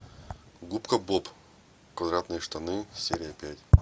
губка боб квадратные штаны серия пять